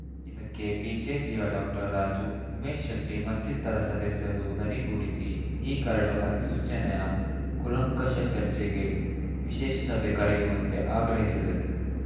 ಇದಕ್ಕೆ ಬಿಜೆಪಿಯ ಡಾಕ್ಟರ್ ರಾಜು ಉಮೇಶ್‌ ಶೆಟ್ಟಿಮತ್ತಿತರ ಸದಸ್ಯರು ಧನಿಗೂಡಿಸಿ ಈ ಕರಡು ಅಧಿಸೂಚನೆಯ ಕೂಲಂಕಷ ಚರ್ಚೆಗೆ ವಿಶೇಷ ಸಭೆ ಕರೆಯುವಂತೆ ಆಗ್ರಹಿಸಿದರು